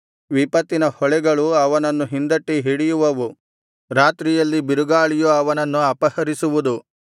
ವಿಪತ್ತಿನ ಹೊಳೆಗಳು ಅವನನ್ನು ಹಿಂದಟ್ಟಿ ಹಿಡಿಯುವವು ರಾತ್ರಿಯಲ್ಲಿ ಬಿರುಗಾಳಿಯು ಅವನನ್ನು ಅಪಹರಿಸುವುದು